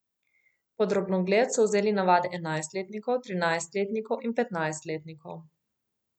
Pod drobnogled so vzeli navade enajstletnikov, trinajstletnikov in petnajstletnikov.